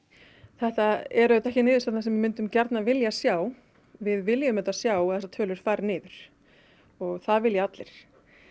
þetta eru auðvitað ekki niðurstöðurnar sem við myndum gjarnan vilja sjá við viljum auðvitað vilja sjá að þessar tölur fari niður og það vilja allir